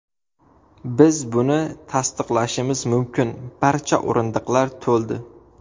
Biz buni tasdiqlashimiz mumkin barcha o‘rindiqlar to‘ldi.